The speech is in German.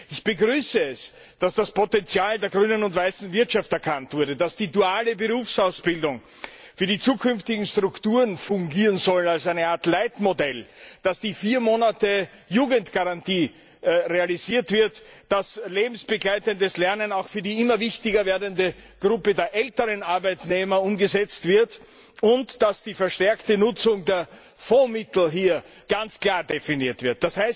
Ich begrüße es, dass das Potenzial der grünen und weißen Wirtschaft erkannt wurde, dass die duale Berufsausbildung für die zukünftigen Strukturen als eine Art Leitmodell fungieren soll, dass die Jugendgarantie realisiert wird, dass lebensbegleitendes Lernen auch für die immer wichtiger werdende Gruppe der älteren Arbeitnehmer umgesetzt wird und dass die verstärkte Nutzung der Fondsmittel hier ganz klar definiert wird.